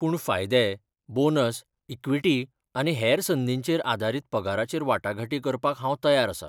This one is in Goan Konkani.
पूण फायदे, बोनस, इक्विटी, आनी हेर संदींचेर आदारीत पगाराचेर वाटाघाटी करपाक हांव तयार आसां.